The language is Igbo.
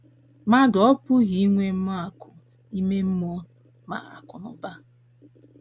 Mmadụ ọ́ pụghị inwe ma akụ̀ ime mmụọ ma akụnụba?